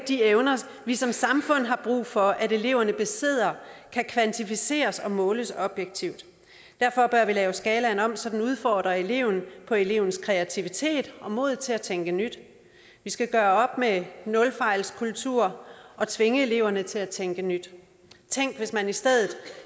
de evner vi som samfund har brug for at eleverne besidder kan kvantificeres og måles objektivt derfor bør vi lave skalaen om så den udfordrer eleven på elevens kreativitet og mod til at tænke nyt vi skal gøre op med nulfejlskulturen og tvinge eleverne til at tænke nyt tænk hvis man i stedet